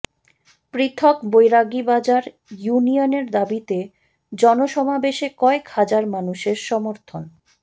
পৃথক বৈরাগীবাজার ইউনিয়নের দাবিতে জন সমাবেশে কয়েক হাজার মানুষের সমর্থন